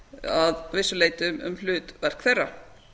að vissu leyti um hlutverk þeirra